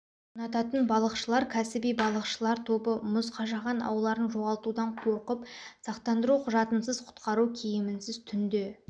ұнататын балықшылар кәсіби балықшылыр тобы мұз қажаған ауларын жоғалтудан қорқып сақтандыру құжатынсыз құтқару киімінсіз түнде